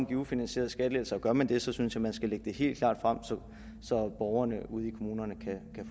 give ufinansierede skattelettelser og gør man det så synes jeg man skal lægge det helt klart frem så borgerne ude i kommunerne kan